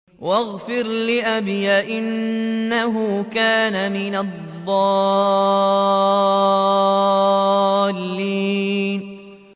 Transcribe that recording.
وَاغْفِرْ لِأَبِي إِنَّهُ كَانَ مِنَ الضَّالِّينَ